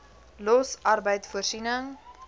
los arbeid voorsiening